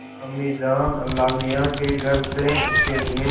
अम्मीजान अल्लाहमियाँ के घर से उसके लिए